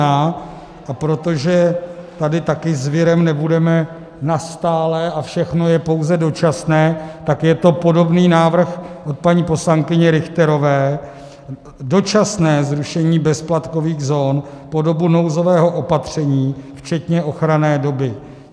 A protože tady taky s virem nebudeme nastálo a všechno je pouze dočasné, tak je to podobný návrh od paní poslankyně Richterové, dočasné zrušení bezdoplatkových zón po dobu nouzového opatření včetně ochranné doby.